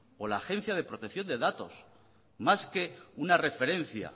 o la agencia de protección de datos más que una referencia